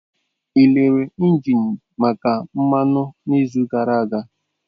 Ị lere engine maka mmanụ n'izu gara aga?